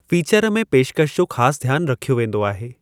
Feature में पेशकशि जो ख़ासि ध्यानु रखियो वेंदो आहे।